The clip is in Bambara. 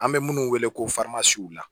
An bɛ minnu wele ko